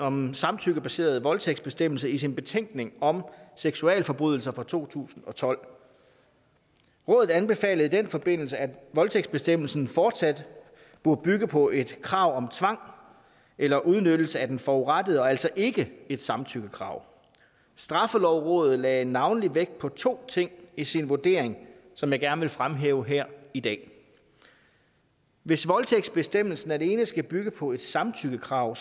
om en samtykkebaseret voldtægtsbestemmelse i sin betænkning om seksualforbrydelser fra to tusind og tolv rådet anbefalede i den forbindelse at voldtægtsbestemmelsen fortsat burde bygge på et krav om tvang eller udnyttelse af den forurettede og altså ikke et samtykkekrav straffelovrådet lagde navnlig vægt på to ting i sin vurdering som jeg gerne vil fremhæve her i dag hvis voldtægtsbestemmelsen alene skal bygge på et samtykkekrav